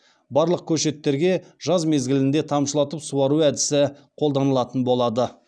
барлық көшеттерге жаз мезгілінде тамшылатып суару әдісі қолданылатын болады